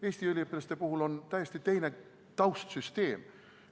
Eestist pärit üliõpilastel on täiesti teine taustsüsteem.